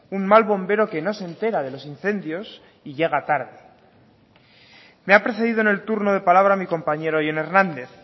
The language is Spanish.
un mal bombero que no se entera de los incendios y llega tarde me ha precedido en el turno de palabra mi compañero jon hernández